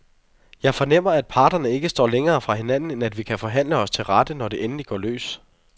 Jeg fornemmer, at parterne ikke står længere fra hinanden, end at vi kan forhandle os til rette, når det endelig går løs.